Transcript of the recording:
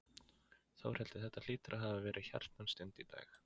Þórhildur, þetta hlýtur að hafa verið hjartnæm stund í dag?